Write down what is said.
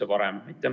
Aitäh!